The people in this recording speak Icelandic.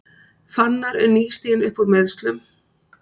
Fannar er nýstiginn uppúr meiðslum